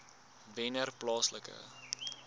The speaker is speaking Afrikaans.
wennerplaaslike